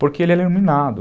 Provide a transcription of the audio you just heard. Porque ele é iluminado.